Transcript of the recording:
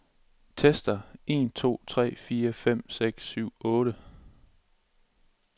Tester en to tre fire fem seks syv otte.